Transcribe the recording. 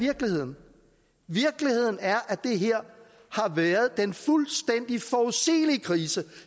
virkeligheden virkeligheden er at det her har været den fuldstændig forudsigelige krise